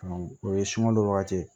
o ye sungalo wagati ye